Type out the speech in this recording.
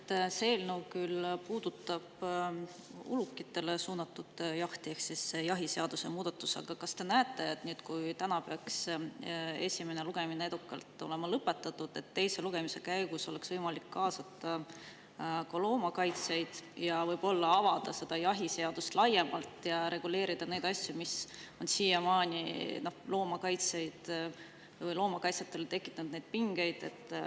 See eelnõu ehk jahiseaduse muudatus küll puudutab ulukitele suunatud jahti, aga kas te näete, et kui täna peaks esimene lugemine edukalt lõpetatama, siis teise lugemise käigus oleks võimalik kaasata ka loomakaitsjaid, võib-olla avada seda jahiseadust laiemalt ja reguleerida neid asju, mis on siiamaani loomakaitsjatele tekitanud pingeid.